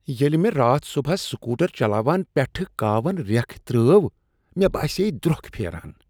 ییٚلہ مےٚ راتھ صبحس سکوٹر چلاوان پیٹھہٕ كاون ریٛكھ ترٲوو، مے باسییہِ دروكھ پھیران۔